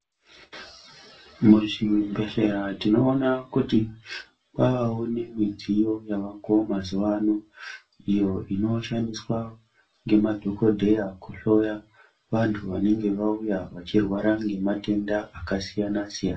Muzvibhehlera tinoona kuti kwavawo nemidziyo yavako mazuvano iyo inoshandiswa ngemadhogodheya kuhloya vantu vanenge vauya vachirwara ngematenda akasiyana-siyana.